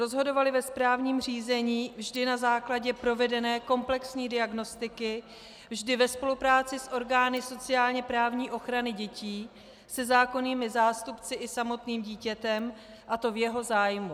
Rozhodovaly ve správním řízení vždy na základě provedené komplexní diagnostiky, vždy ve spolupráci s orgány sociálně-právní ochrany dětí, se zákonnými zástupci i samotným dítětem, a to v jeho zájmu.